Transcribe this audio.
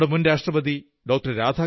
നമ്മുടെ മുൻ രാഷ്ട്രപതി ഡോ